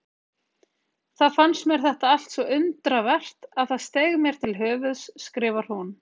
Þá fannst mér þetta allt svo undravert að það steig mér til höfuðs, skrifar hún.